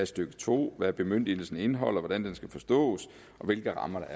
stykke to og hvad bemyndigelsen indeholder hvordan den skal forstås og hvilke rammer